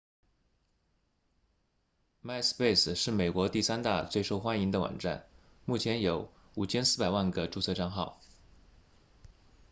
myspace 是美国第三大最受欢迎的网站目前有 5,400 万个注册帐号